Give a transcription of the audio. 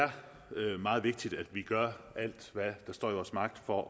er meget vigtigt at vi gør alt hvad der står i vores magt for